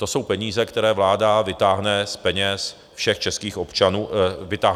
To jsou peníze, které vláda vytáhne z kapes všem českým občanům a firmám.